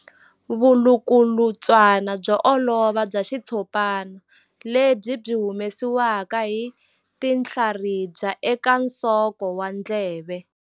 Vulukulutswana byo olova bya xitshopana lebyi byi humesiwaka hi tinhlaribya eka nsoko wa ndleve.